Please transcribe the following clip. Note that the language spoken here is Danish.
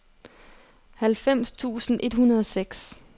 halvfems tusind et hundrede og seks